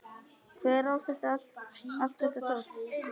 Hver á allt þetta dót?